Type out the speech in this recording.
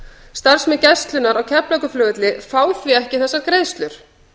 starfsmenn gæslunnar á keflavíkurflugvelli fá því ekki þessar greiðslur